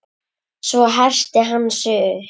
Svo herti hann sig upp.